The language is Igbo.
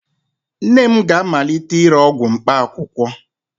Nne m ga-amalite ire ọgwụ mkpaakwụkwọ